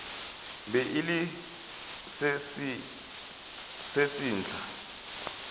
be e le se sesehla